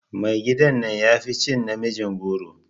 Mai gida na yafi cin namijin goro.